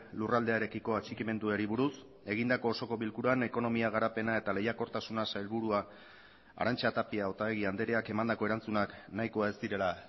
lurraldearekiko atxikimenduari buruz egindako osoko bilkuran ekonomia garapena eta lehiakortasuna sailburua arantxa tapia otaegi andreak emandako erantzunak nahikoa ez direla